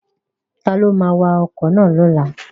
Ta ló ma wa ọkọ̀ lọ́la?